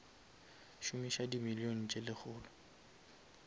šomiša di million tse lekgolo